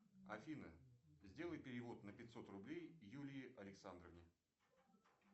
афина сделай перевод на пятьсот рублей юлии александровне